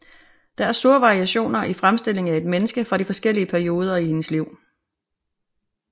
Der er store variationer i fremstillingen af et menneske fra de forskellige perioder i hendes liv